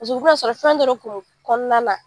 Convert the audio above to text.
Paseke u bi na sɔrɔ fɛn dɔ de kun bi kɔnɔna na